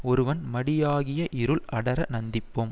ஒருவன் மடியாகிய இருள் அடர நந்திப்போம்